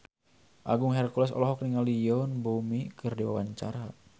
Agung Hercules olohok ningali Yoon Bomi keur diwawancara